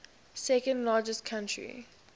second largest country